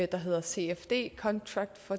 der hedder cfd contract for